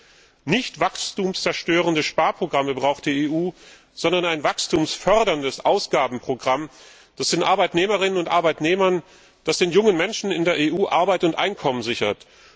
Die EU braucht keine wachstumszerstörenden Sparprogramme, sondern ein wachstumsförderndes Ausgabenprogramm, das den Arbeitnehmerinnen und Arbeitnehmern und den jungen Menschen in der EU Arbeit und Einkommen sichert.